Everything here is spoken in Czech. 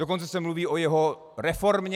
Dokonce se mluví o jeho reformě.